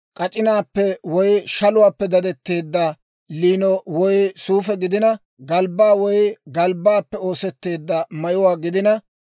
k'ac'inaappe woy shaluwaappe dadetteedda liino woy suufe gidina, galbbaa woy galbbaappe oosetteedda mayuwaa gidina,